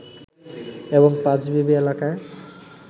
এবং পাঁচবিবি এলাকায়